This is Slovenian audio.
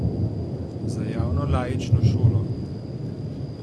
Za javno laično šolo?